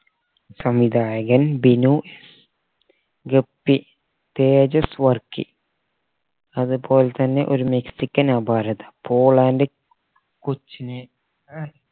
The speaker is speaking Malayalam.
സംവിധായകൻ ബിനു ഗപ്പി തേജസ് വർക്കി അത്പോലെ തന്നെ ഒരു മെക്സിക്കൻ അപാരത പോൾ and